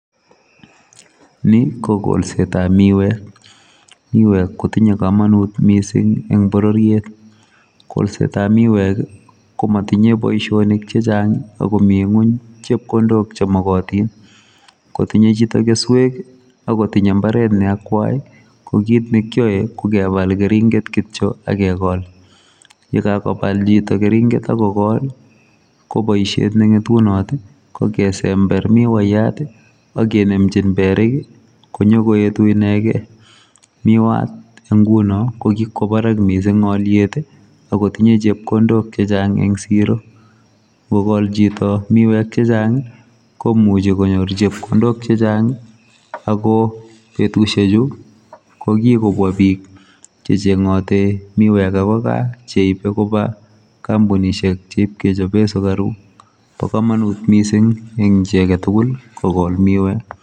Ni ko kolsetap miwek. Miwek kotinye komonut mising eng pororiet. Kolsetap miwek ko motinye ko motinye boishonik chechang akomi ng'uny chepkondok chemakotin. Kotinye chito keswek akotinye mbaret neakwai ko kit kekyoe ko kepal keringet kityo akekol. Yekakopal chito keringet akokol, ko boishet neng'etunot ko kesember miwaiyat akenemchin perik konyo koetu inekei. Miwat eng nguno ko kikwo barak mising alyet akotinye chepkondok chechang eng siro . Nkokol chito miwek chechang komuchi konyor chepkondok chechang ako betushechu ko kikobwa biik checheng'oti miwek ako gaa cheipe kopa kampunishek cheipkechope sukaruk. Po komonut mising eng chi aketukul kokol miwek.